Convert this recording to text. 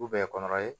U bɛ kɔnɔ ye